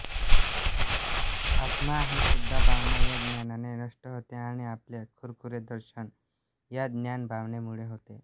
आत्मा आहे सुद्धा भावना या ध्यानाने नष्ट होते आणि आपले खरेखुरे दर्शन या ध्यानभावनेमुळे होते